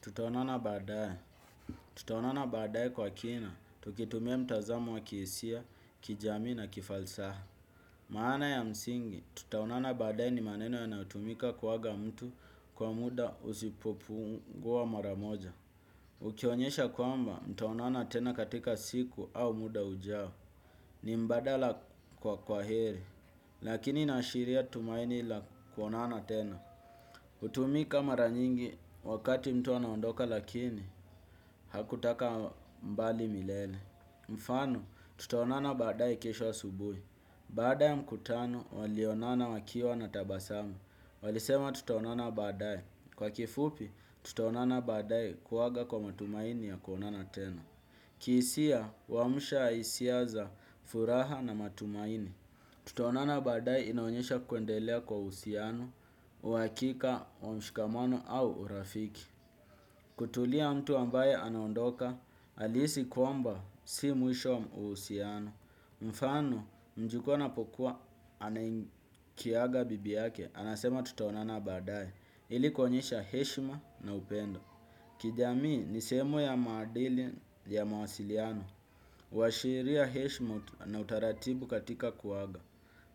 Tutaonana baadaye. Tutaonana baadaye kwa kina. Tukitumia mtazamo wa ki hisia, kijamii na kifalsaha. Maana ya msingi. Tutaonana baadaye ni maneno yanayotumika kuaga mtu kwa muda usipopungua mara moja. Ukionyesha kwamba mtaonana tena katika siku au muda ujao. Ni mbadala kwa kwa heri. Lakini inashiria tumaini la kuonana tena. Hutumika mara nyingi wakati mtu anaondoka lakini hatakaa mbali milele. Mfano tutaonana baadaye kesho asubuhi. Baada ya mkutano walionana wakiwa na tabasamu. Walisema tutaonana baadaye. Kwa kifupi tutaonana baadaye kuaga kwa matumaini ya kuonana tena. Ki hisia huamsha hisia za furaha na matumaini. Tutaonana baadaye inaonyesha kuendelea kwa uhusiano, uhakika, mshikamano au urafiki. Kutulia mtu ambaye anaondoka, alihisi kwamba si mwisho wa uhusiano. Mfano mjukuu anapokuwa akiaga bibi yake, anasema tutaonana baadaye. Ili kuonyesha heshima na upendo. Kijamii ni sehemu ya maadili ya mawasiliano. Uhashiria heshima na utaratibu katika kuaga.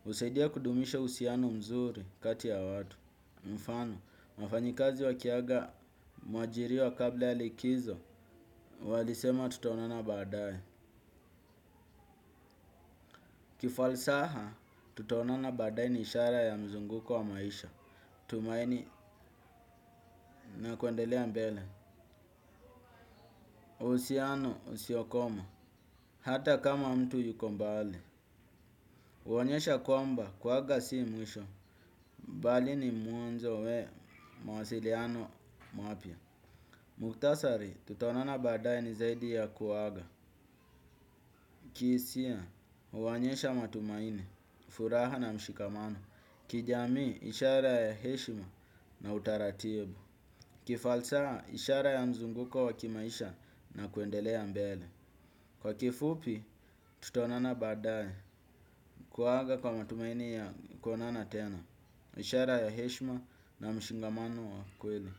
Husaidia kudumisha uhusiano mzuri kati ya watu. Mfano, wafanyikazi wakiaga mwajiriwa kabla ya likizo, walisema tutaonana baadaye. Kifalsaha, tutaonana baadaye ni ishara ya mzunguko wa maisha. Tumaini na kuendelea mbele. Uhusiano usiokoma, hata kama mtu yuko mbali. Huonyesha kwamba, kuaga si mwisho. Mbali ni mwanzo wa, mawasiliano mapya. Muktasari tutaonana baadaye ni zaidi ya kuaga. Ki hisia huonyesha matumaini, furaha na mshikamano. Kijamii ishara ya heshima na utaratibu. Kifalsaha ishara ya mzunguko wa kimaisha na kuendelea mbele. Kwa kifupi tutaonana baadaye kuaga kwa matumaini ya kuonana tena. Ishara ya heshima na mshikamano wa kweli.